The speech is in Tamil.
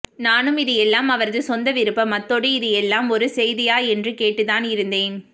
நானும் இது எல்லாம் அவரது சொந்த விருப்பம் அத்தோடு இது எல்லாம் ஒரு செய்தியா என்று தான் கேட்டு இருந்தேன்